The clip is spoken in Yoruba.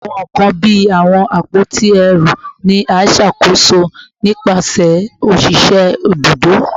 Awọn nkan bii awọn apoti ẹru ni a ṣakoso nipasẹ oṣiṣẹ ibudo